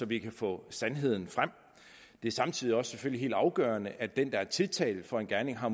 vi kan få sandheden frem det er samtidig selvfølgelig også helt afgørende at den der er tiltalt for en gerning har